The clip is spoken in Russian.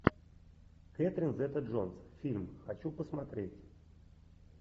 кэтрин зета джонс фильм хочу посмотреть